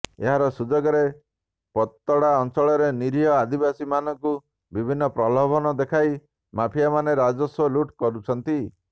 ଏହାର ସୁଯୋଗରେ ପତଡ଼ା ଅଞ୍ଚଳର ନିରୀହ ଆଦିବାସୀ ମାନଙ୍କୁ ବିଭିନ୍ନ ପ୍ରଲୋଭନ ଦେଖାଇ ମାଫିଆମାନେ ରାଜସ୍ୱକୁ ଲୁଟ କରୁଛନ୍ତି